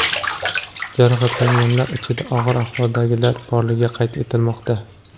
Jarohatlanganlar ichida og‘ir ahvoldagilar borligi qayd etilmoqda.